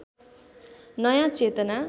नयाँ चेतना